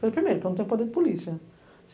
Primeiro, porque eu não tenho poder de polícia.